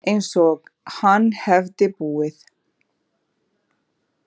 Einsog hann hefði búið.